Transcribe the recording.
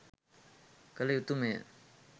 කළ යුතුමය.